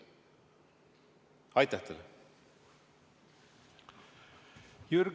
Aitäh teile!